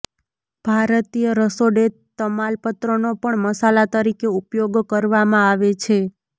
ભારતીય રસોડે તમાલપત્રનો પણ મસાલા તરીકે ઉપયોગ કરવામાં આવે છે